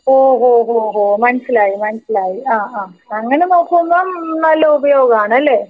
ഓ ഹോ ഓ ഹോ മനസിലായി മനസിലായി ആ ആ അങ്ങനെ നോക്കുമ്പോ നല്ല ഉപയോഗം ആണ് ലെ?